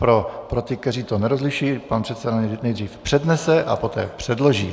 Pro ty, kteří to nerozlišují: pan předseda nejdříve přednese a poté předloží.